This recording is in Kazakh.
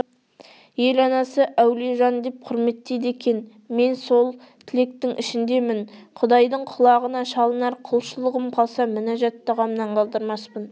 ел анасы әулие жан деп құрметтейді екен мен де сол тілектің ішіндемін құдайдың құлағына шалынар құлшылығым қалса мүнажат дұғамнан қалдырмаспын